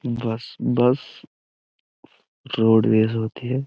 बस bus roadways होती है।